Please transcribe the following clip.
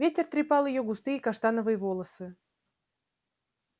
ветер трепал её густые каштановые волосы